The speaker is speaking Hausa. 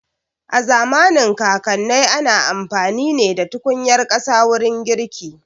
A zamanin kakanai ana amfani ne da tukunyar ƙasa wurin girki